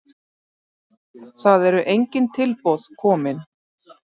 Það eru engin tilboð kominn.